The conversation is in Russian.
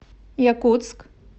якутск